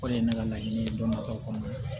O de ye ne ka laɲini ye dɔnnimakaw kɔnɔna